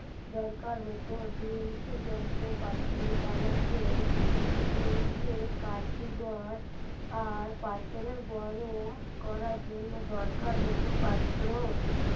দরকার হতো যন্ত্রপাতি বানাতে আর পাথরে গরম করার জন্য দরকার হতো পাত্র